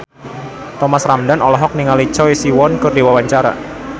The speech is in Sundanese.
Thomas Ramdhan olohok ningali Choi Siwon keur diwawancara